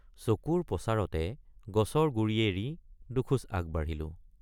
চকুৰ পচাৰতে গছৰ গুৰি এৰি দুখোজ আগবাঢ়িলোঁ।